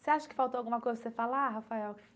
Você acha que faltou alguma coisa para você falar, Rafael?